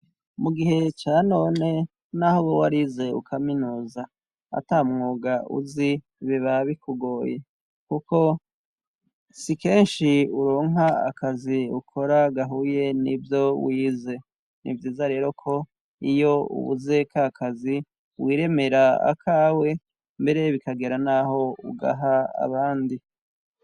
Mu gihe ca none, n'aho woba warize kaminuza ata mwuga uzi biba bikugoye kuko si kenshi uronka akazi ukora gahuye nivyo wize. Ni vyiza rero ko iyo ubuze ka kazi, wiremera akawe mbere bikagera n'aho ugaha abandi.